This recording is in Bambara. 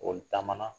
O taamana